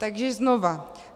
Takže znova.